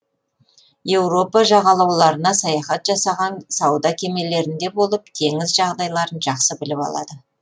еуропа жағалауларына саяхат жасаған сауда кемелерінде болып теңіз жағдайларын жақсы біліп алады